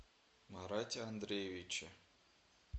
марате андреевиче